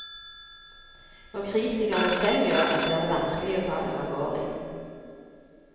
Når kritikerne selv gjør det, blir det vanskelig å ta dem alvorlig.